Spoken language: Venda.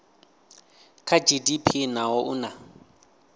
kha gdp naho u na